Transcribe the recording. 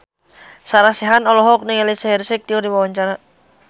Sarah Sechan olohok ningali Shaheer Sheikh keur diwawancara